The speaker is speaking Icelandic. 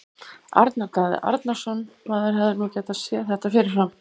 Arnar Daði Arnarsson Maður hefði nú getað séð þetta fyrir fram.